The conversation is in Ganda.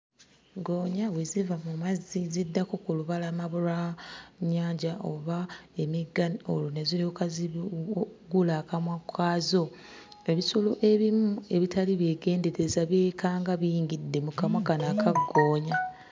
Ggoonya bwe ziva mu mazzi ziddako ku lubalama lwa nnyanja oba emigga olwo ne ziryoka zi bu ggula akamwa kaazo. Ebisolo ebimu ebitali byegendereza byekanga biyingidde mu kamwa kano aka ggoonya.